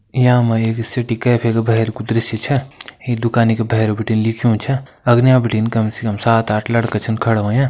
यामा एक city cafe का बहर कु दृश्य छा इ दुकानी के बहर भीटी लिख्यूं छा अगने भिटिन काम से काम सात आठ लड़का छन खड़ा हुयां।